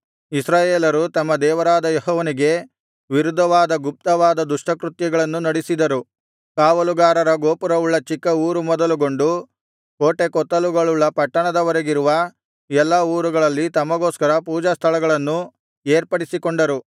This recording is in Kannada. ಇಸ್ರಾಯೇಲರು ತಮ್ಮ ದೇವರಾದ ಯೆಹೋವನಿಗೆ ವಿರುದ್ಧವಾದ ಗುಪ್ತವಾದ ದುಷ್ಟ ಕೃತ್ಯಗಳನ್ನು ನಡಿಸಿದರು ಕಾವಲುಗಾರರ ಗೋಪುರವುಳ್ಳ ಚಿಕ್ಕ ಊರು ಮೊದಲುಗೊಂಡು ಕೋಟೆಕೊತ್ತಲುಗಳುಳ್ಳ ಪಟ್ಟಣದವರೆಗಿರುವ ಎಲ್ಲಾ ಊರುಗಳಲ್ಲಿ ತಮಗೋಸ್ಕರ ಪೂಜಾಸ್ಥಳಗಳನ್ನು ಏರ್ಪಡಿಸಿಕೊಂಡರು